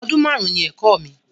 Ọdún máàrún ni ẹ̀kọ́ mi